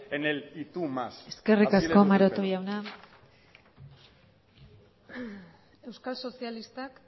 en el y tú más así eskerrik asko maroto jauna euskal sozialista